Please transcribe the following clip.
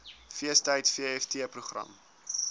feestyd vft program